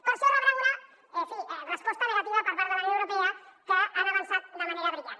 per això rebran una en fi resposta negativa per part de la unió europea que han avançat de manera brillant